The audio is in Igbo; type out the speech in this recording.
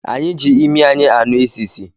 Anyị ji ịmị anyị ànú ị́sìsì